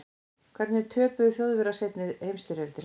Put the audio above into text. hvernig töpuðu þjóðverjar seinni heimsstyrjöldinni